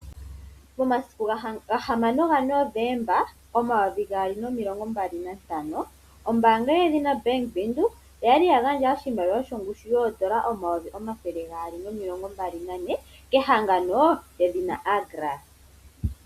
Momasiku gahamano gaNovemba omayovi gaali nomilongo mbali nantano, ombaanga yedhina Bank Windhoek oya gandja oshimaliwa shongushu yoodola omayovi omathele gaali nomilongo mbali nane kehangano lyedhina Agra.